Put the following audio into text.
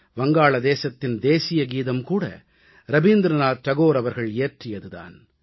வங்காளதேசத்தின் தேசியகீதம்கூட ரவீந்திரநாத் தாகூர் அவர்கள் இயற்றியது தான்